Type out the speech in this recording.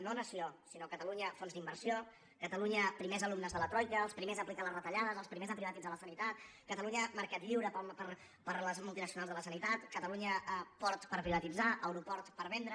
no nació sinó catalunya fons d’inversió catalunya primers alumnes de la troica els primers a aplicar les retallades els primers a privatitzar la sanitat catalunya mercat lliure per a les multinacionals de la sanitat catalunya port per privatitzar aeroport per vendre